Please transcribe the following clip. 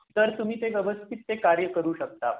तर तुम्ही ते व्यवस्थित ते कार्य करू शकता .